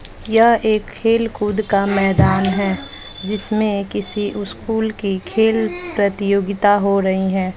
यह एक खेल खुद का मैदान है जिसमें किसी स्कूल की खेल प्रतियोगिता हो रही हैं।